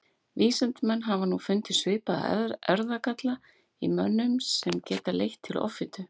vísindamenn hafa nú fundið svipaða erfðagalla í mönnum sem geta leitt til offitu